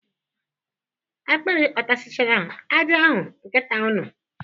Akpịrị ọ takasịchara ajị ahụ nkịta unu?